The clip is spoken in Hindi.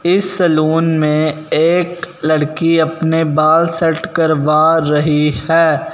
इस सैलून में एक लड़की अपने बाल सेट करवा रही है।